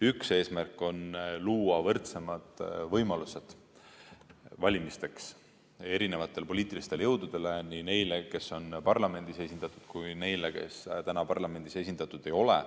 Üks eesmärk on luua võrdsemad võimalused valimisteks erinevatele poliitilistele jõududele – nii neile, kes on parlamendis esindatud, kui ka neile, kes täna parlamendis esindatud ei ole.